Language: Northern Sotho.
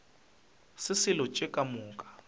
se selo tše ka moka